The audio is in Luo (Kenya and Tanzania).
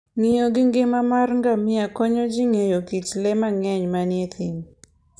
Ng'iyo gi ngima mar ngamia konyo ji ng'eyo kit le mang'eny manie thim.